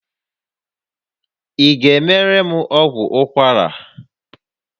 Ị ga-emere m ọgwụ ụkwara?